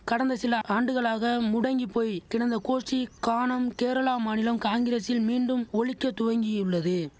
கடந்த சில ஆண்டுகளாக முடங்கி போய் கிடந்த கோஷ்டி கானம் கேரளா மாநிலம் காங்கிரசில் மீண்டும் ஒலிக்க துவங்கியுள்ளது